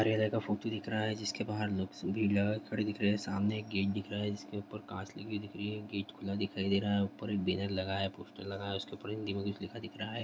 कार्यालय का फोटो दिख रहा है जिसके बाहर लोग भीड़ लगा के खड़े दिख रहे है सामने एक गेट दिख रहा है जिसके ऊपर कांच लगी दिख रही है गेट खुला दिखाई दे रहा है ऊपर एक बैनर लगा है पोस्टर लगा है उसके ऊपर हिंदी में कुछ लिखा दिख रहा है।